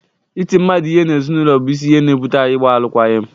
Ịtị mmadụ ihe n’ezinụlọ bụ isi ihe na-ebụte ịgba alụkwaghịm